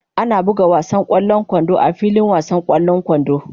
Ana buga wasan ƙwallon kwando a filin wasan ƙwallon kwando.